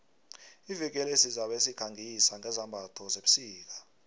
iveke le sizabe sikhangisa ngezambatho zebusika